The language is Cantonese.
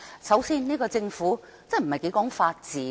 首先，這個政府真的不太講求法治。